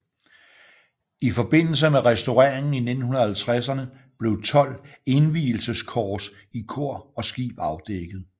I forbindelse med restaureringen i 1950erne blev tolv indvielseskors i kor og skib afdækket